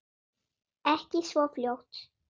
Ekki svo fljótt.